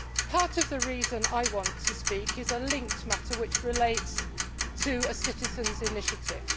Part of the reason I want to speak is a linked matter which relates to the citizen's initiative.